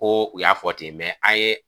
Koo u y'a fɔ ten an ye